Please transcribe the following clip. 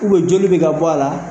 U bɛ joli bɛ ka bɔ a la.